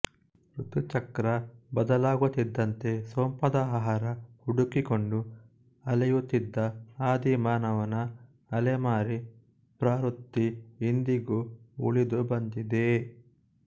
ಋತುಚಕ್ರ ಬದಲಾಗುತ್ತಿದ್ದಂತೆ ಸೊಂಪಾದ ಆಹಾರ ಹುಡುಕಿಕೊಂಡು ಅಲೆಯುತ್ತಿದ್ದ ಆದಿಮ ಮಾನವನ ಅಲೆಮಾರಿ ಪ್ರವೃತ್ತಿ ಇಂದಿಗೂ ಉಳಿದು ಬಂದಿದೆಯೇ